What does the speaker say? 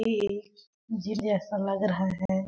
एक जिम जैसा लग रहा है।